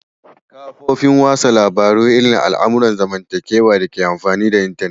Kafofin wasan labaru irin al'amuran zamantakewa ne dake amfani da intanet.